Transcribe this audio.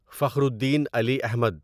Fakhruddin Ali Ahmad